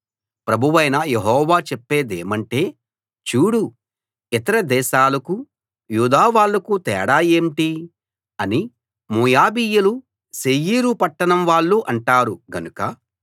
ప్రభువైన యెహోవా చెప్పేదేమంటే చూడు ఇతర దేశాలకూ యూదా వాళ్ళకూ తేడా ఏంటి అని మోయాబీయులు శేయీరు పట్టణం వాళ్ళు అంటారు గనుక